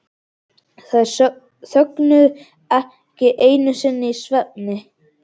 Þær þögnuðu ekki einu sinni í svefni.